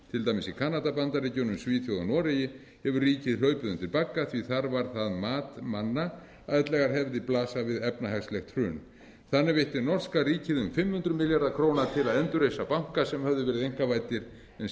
dæmis í kanada bandaríkjunum svíþjóð og noregi hefur ríkið hlaupið undir bagga því að þar var það mat manna að ellegar hefði blasað við efnahagslegt hrun þannig veitti norska ríkið um fimm hundruð milljörðum króna til að endurreisa banka sem höfðu verið einkavæddir en síðan